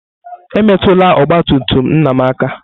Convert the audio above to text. Emetụla ọgba tum tum nna m aka!